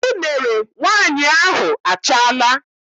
Unere nwaanyị ahụ achaala.